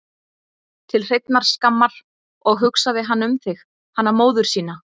Til hreinnar skammar, og hugsaði hann um þig, hana móður sína?